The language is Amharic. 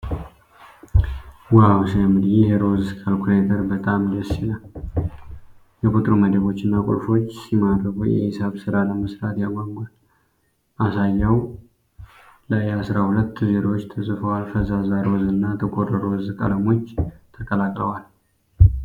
ዋው ሲያምር! ይህ ሮዝ ካልኩሌተር በጣም ደስ ይላል። የቁጥሩ መደቦች እና ቁልፎች ሲማርኩ! የሂሳብ ስራ ለመስራት ያጓጓል። ማሳያው ላይ አስራ ሁለት ዜሮዎች ተጽፈዋል። ፈዛዛ ሮዝ እና ጥቁር ሮዝ ቀለሞች ተቀላቅለዋል።